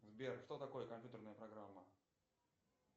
сбер что такое компьютерная программа